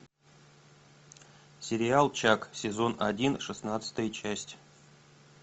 сериал чак сезон один шестнадцатая часть